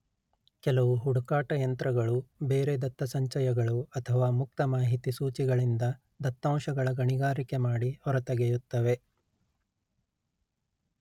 ಕೆಲವು ಹುಡುಕಾಟ ಯಂತ್ರಗಳು ಬೇರೆ ದತ್ತಸಂಚಯಗಳು ಅಥವಾ ಮುಕ್ತ ಮಾಹಿತಿ ಸೂಚಿಗಳಿಂದ ದತ್ತಾಂಶಗಳ ಗಣಿಗಾರಿಕೆ ಮಾಡಿ ಹೊರತೆಗೆಯುತ್ತವೆ